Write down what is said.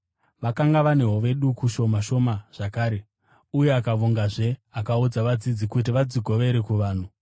Vakanga vane hove duku shoma shoma zvakare; uye akavongazve akaudza vadzidzi kuti vadzigovere kuvanhu.